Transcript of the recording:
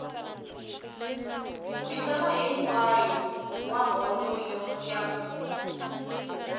misava hinkwayo wa bolo ya